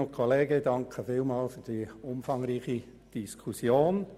Ich danke Ihnen für diese umfangreiche Diskussion.